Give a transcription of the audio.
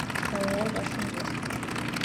ооо ваш инвестор